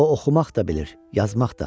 O oxumaq da bilir, yazmaq da.